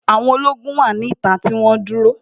Àwọn ológun wà ní ìta tí wọ́n dúró